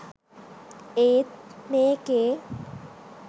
ඒත් මේකේ